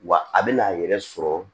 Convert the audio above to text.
Wa a bɛna a yɛrɛ sɔrɔ